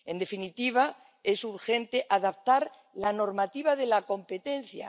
En definitiva, es urgente adaptar la normativa de la competencia